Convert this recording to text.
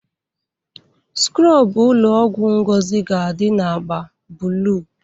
Skrọbụ ụlọ ọgwụ Ngozi ga-adị na agba blụu.